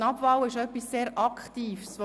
Eine «Abwahl» ist etwas sehr Aktives.